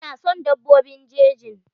Ina son dabbobin jeji.